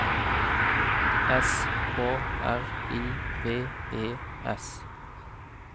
S K R I V E S